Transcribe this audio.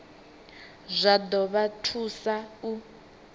zwa ḓo vha thusa u